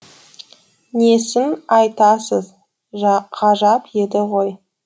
несін айтасыз ғажап еді ғой